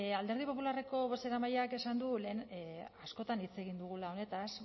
alderdi popularreko bozeramaileak esan du lehen askotan hitz egin dugula honetaz